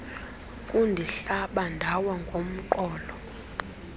kundihlaba ndawa ngomqolo